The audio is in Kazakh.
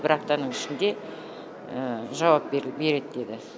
бір аптаның ішінде жауап береді деді